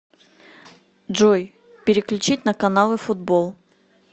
джой переключить на каналы футбол